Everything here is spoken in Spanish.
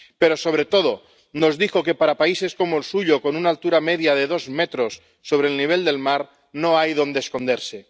Pero sobre todo nos dijo que, en países como el suyo, con una altura media de dos metros sobre el nivel del mar, no hay donde esconderse.